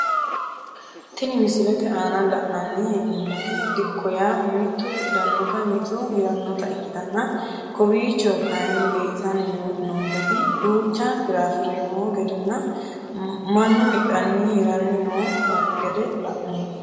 Tini misilete ana la`nani heenomoti dikko yaa mitu hidhanota mitu hiranota ikitana kowiicho kayiini leeltani noonketi duucha firafire noo gedenna manu hidhani hirani noo gaede la`nomo.